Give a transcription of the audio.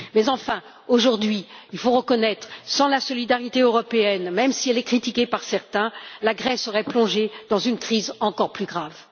Mais enfin, aujourd'hui, il faut reconnaître que sans la solidarité européenne, même si elle est critiquée par certains, la Grèce serait plongée dans une crise encore plus grave.